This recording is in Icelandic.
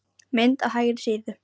Mynd á hægri síðu.